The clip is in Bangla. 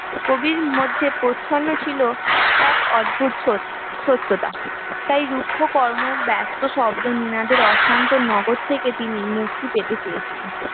কবির মধ্যে প্রচন্ড ছিল এক অদ্ভুত সত্যতা তাই রুক্ষ কর্মব্যস্ত শব্দ নগর থেকে তিনি মুক্তি পেতে চেয়েছিল